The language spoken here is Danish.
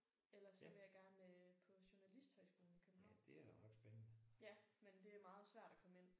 Ellers så vil jeg gerne på journalisthøjskolen i København. Ja men det er meget svært at komme ind